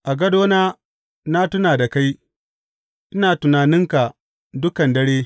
A gadona na tuna da kai; ina tunaninka dukan dare.